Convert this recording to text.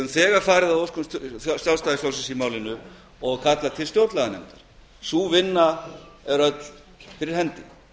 þegar farið að óskum sjálfstæðisflokksins og kallað til stjórnlaganefnd sú vinna er öll fyrir hendi